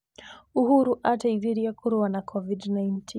Uhuru ateithirie kũrũa na COVID19.